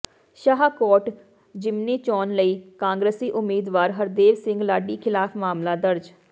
ਸ਼ਾਹਕੋਟ ਜ਼ਿਮਨੀ ਚੋਣ ਲਈ ਕਾਂਗਰਸੀ ਉਮੀਦਵਾਰ ਹਰਦੇਵ ਸਿੰਘ ਲਾਡੀ ਖਿਲਾਫ ਮਾਮਲਾ ਦਰਜ